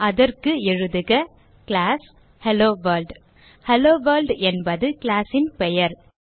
அதற்கு எழுதுக class hello world hello world என்பது class ன் பெயர்